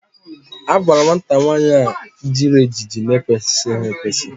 A gwara nwata nwaanyị a jiri ejiji n'ekwesịghị ekwesị